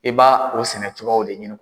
E ba o sɛnɛ cogoyaw de ɲini.